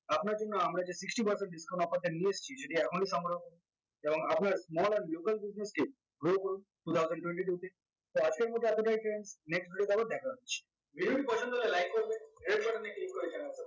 আপনার জন্য আমরা যেই sixty percent discount offer টা নিয়ে এসেছি যদি এখনো সংগ্রহ এবং আপনার small and local business কে grow করুন two thousand twenty two তে তো আজকের মধ্যে এতটাই friends next video তে আবার দেখা হচ্ছে video টি পছন্দ হলে like করবে